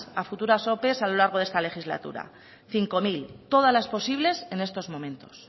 a futuras ope a lo largo de esta legislatura cinco mil todas las posibles en estos momentos